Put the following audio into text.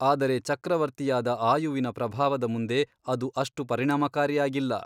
ಆದರೆ ಚಕ್ರವರ್ತಿಯಾದ ಆಯುವಿನ ಪ್ರಭಾವದ ಮುಂದೆ ಅದು ಅಷ್ಟು ಪರಿಣಾಮಕಾರಿಯಾಗಿಲ್ಲ.